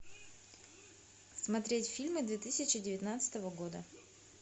смотреть фильмы две тысячи девятнадцатого года